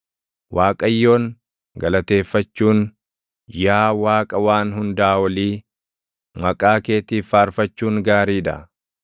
Waaqayyoon, galateeffachuun, yaa Waaqa Waan Hundaa Olii, maqaa keetiif faarfachuun gaarii dha.